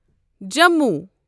Jammu